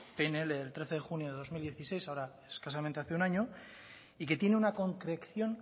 pnl del trece de junio de dos mil dieciséis ahora escasamente hace un año y que tiene una concreción